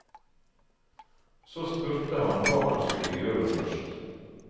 Så spurte han hva han skulle gjøre først.